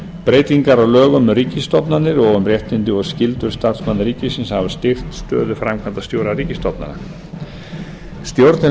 breytingar á lögum um ríkisstofnanir og um réttindi og skyldur starfsmanna ríkisins hafa styrkt stöðu framkvæmdarstjóra ríkisstofnana stjórnir